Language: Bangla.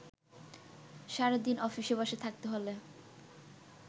সারাদিনঅফিসে বসে থাকতে হলে